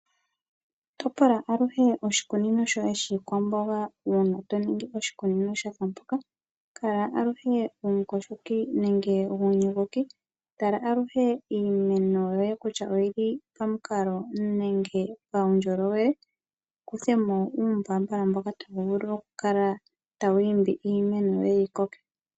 Topola aluhe oshikunino shoye shiikwamboga uuna to ningi oshikunino sha fa mpoka. Kala aluhe omuyogoki. Tala aluhe iimeno yoye kutya oyi li pamukalo nenge paundjolowele, wu kuthe mo uumbaambala mboka tawu vulu okukala tawu imbi iimeno yoye yi koke.